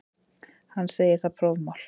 Hann segir það prófmál.